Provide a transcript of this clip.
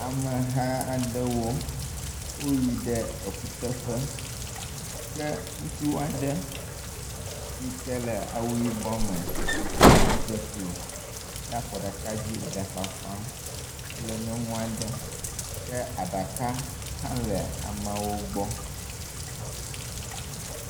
Ameha aɖewo, woyi ɖe ekuteƒe ke ŋutsu aɖe yi ke le awu yibɔ me, edzeklo ɖe afɔ ɖeka dzi le fafam kple nyɔnu aɖe ke aɖaka hã le ameawo gbɔ